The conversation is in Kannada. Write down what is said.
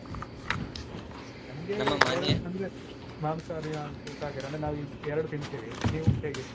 ನಂಗೆ ಅಂದ್ರೆ ಮಾಂಸಾಹಾರಿಯಾ ಅತ್ವಾ ಶಾಕಾಹಾರಿಯಾ ಅಂದ್ರೆ ನಾವ್ ಎರ್ಡ್ ತಿಂತಿವಿ ನೀವು ಹೇಗೆ?